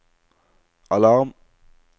alarm